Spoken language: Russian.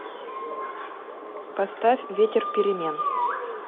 поставь ветер перемен